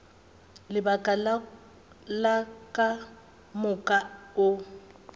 lebaka le ka moka o